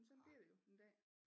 Men sådan bliver det jo en dag